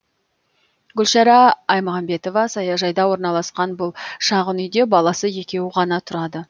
гүлшара аймағамбетова саяжайда орналасқан бұл шағын үйде баласы екеуі ғана тұрады